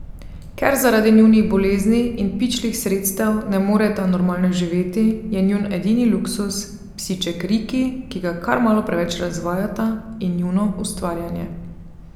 Ker zaradi njunih bolezni in pičlih sredstev ne moreta normalno živeti, je njun edini luksuz psiček Riki, ki ga kar malo preveč razvajata, in njuno ustvarjanje.